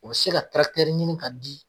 O se ka ɲini k'a di